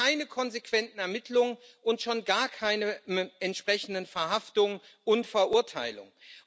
Wir sehen dort keine konsequenten Ermittlungen und schon gar keine entsprechenden Verhaftungen und Verurteilungen.